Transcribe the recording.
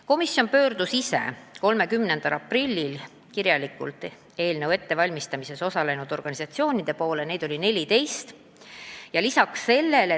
Komisjon ise saatis 30. aprillil kirjad eelnõu ettevalmistamises osalenud organisatsioonidele, neid oli 14.